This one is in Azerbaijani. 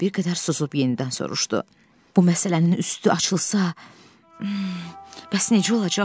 Tom bir qədər susub yenidən soruşdu: "Bu məsələnin üstü açılsa, bəs necə olacaq?